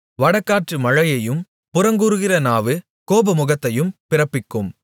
வடகாற்று மழையையும் புறங்கூறுகிற நாவு கோபமுகத்தையும் பிறப்பிக்கும்